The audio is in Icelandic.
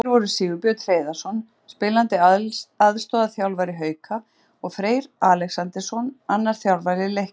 Gestir voru Sigurbjörn Hreiðarsson, spilandi aðstoðarþjálfari Hauka, og Freyr Alexandersson, annar þjálfara Leiknis.